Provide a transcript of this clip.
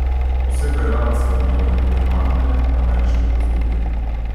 Posebej rad sem imel regionalne ameriške grozljivke.